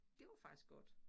Det var faktisk godt